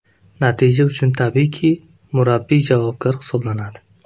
Natija uchun tabiiyki, murabbiy javobgar hisoblanadi.